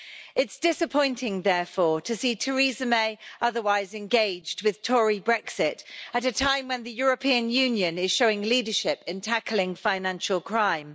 It's disappointing, therefore, to see Theresa May otherwise engaged with Tory Brexit at a time when the European Union is showing leadership in tackling financial crime.